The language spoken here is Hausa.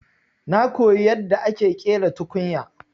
Na koyi yadda ake ƙera tukunya.